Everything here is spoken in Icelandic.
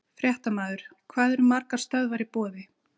Fréttamaður: Hvað eru margar stöðvar í boði?